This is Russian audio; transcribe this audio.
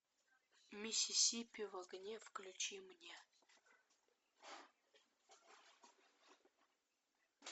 миссисипи в огне включи мне